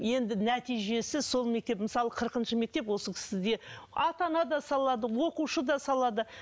енді нәтижесі сол мектеп мысалы қырқыншы мектеп осы кісіде ата ана да салады оқушы да салады